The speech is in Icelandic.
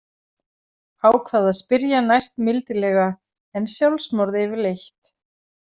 Ákvað að spyrja næst mildilega: En sjálfsmorð yfirleitt?